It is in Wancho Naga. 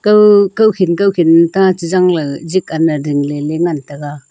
kaw kawkhin kawkhin taji jangley jitley dingley ley ngan tega.